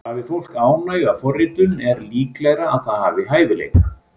Hafi fólk ánægju af forritun er líklegra að það hafi hæfileika.